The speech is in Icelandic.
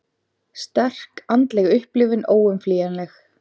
Sterk andleg upplifun óumflýjanleg